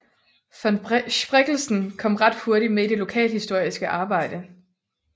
Von Spreckelsen kom ret hurtigt med i det lokalhistoriske arbejde